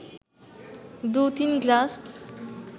দু-তিন গ্লাস